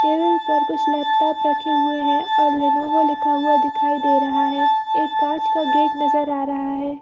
Table पर कुछ laptop रखे हुए हैं और लेनेवो लिखा हुआ दिखाई दे रहा है एक काँच का गेट नजर आ रहा है।